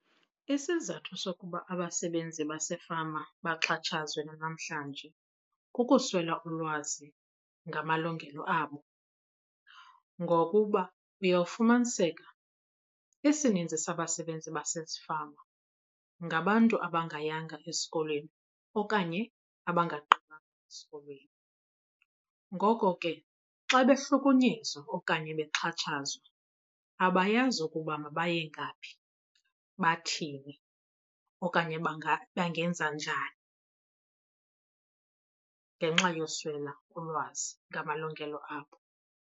Isizathu sokuba abasebenzi basefama baxhatshazwe nanamhlanje kukuswela ulwazi ngamalungelo abo ngokuba uyawufumaniseka isininzi sabasebenzi basezifama ngabantu abangayenza esikolweni okanye abangagqithanga esikolweni. Ngoko ke xa bahlukunyezwa okanye bexhatshazwa abayazi ukuba mabaye ngaphi, bathini okanye bangenza njani ngenxa yokuswela ulwazi ngamalungelo abo.